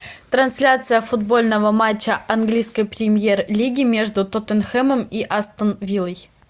трансляция футбольного матча английской премьер лиги между тоттенхэмом и астен вилой